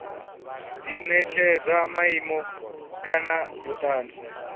di netshedza maimo kana vhutanzi